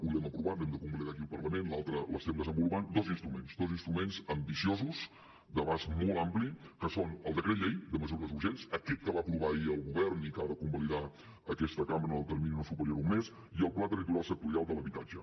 un l’hem aprovat l’hem de convalidar aquí al parlament l’altre l’estem desenvolupant dos instruments dos instruments ambiciosos d’abast molt ampli que són el decret llei de mesures urgents aquest que va aprovar ahir el govern i que ha de convalidar aquesta cambra en el termini no superior a un mes i el pla territorial sectorial de l’habitatge